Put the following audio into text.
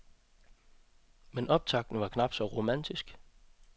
Men optakten var knap så romantisk.